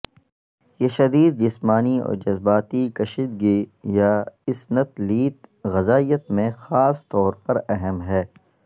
یہ شدید جسمانی اور جذباتی کشیدگی یا اسنتلیت غذائیت میں خاص طور پر اہم ہے